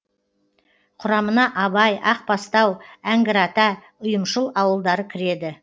құрамына абай ақбастау әңгірата ұйымшыл ауылдары кіреді